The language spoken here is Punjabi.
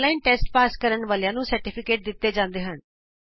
ਔਨਲਾਈਨ ਟੈਸਟ ਪਾਸ ਕਰਨ ਵਾਲਿਆਂ ਨੂੰ ਸਰਟੀਫਿਕੇਟ ਦਿਤਾ ਜਾਂਦਾ ਹੈ